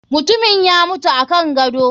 Mutumin ya mutu akan gado.